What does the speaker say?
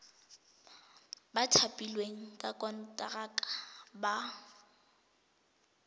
ba thapilweng ka konteraka ba